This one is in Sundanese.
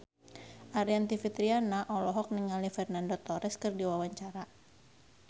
Aryani Fitriana olohok ningali Fernando Torres keur diwawancara